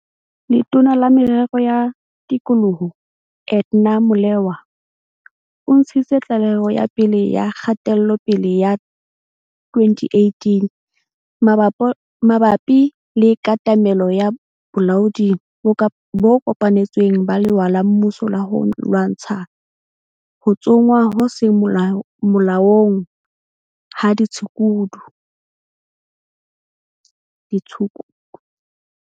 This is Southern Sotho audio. Letona la Merero ya Tikoloho, Edna Molewa, o ntshitse tlaleho ya pele ya kgatelopele ya 2018 mabapi le katamelo ya bolaodi bo kopanetsweng ba lewa la mmuso la ho lwantsha ho tsongwa ho seng molaong ha ditshukudu.